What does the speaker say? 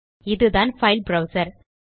இதுதான் file browser